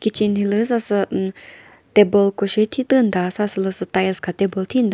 kitchen hilüdzü sasü umm table ko shi thitümta sa sülüsü tiles kha table thinta.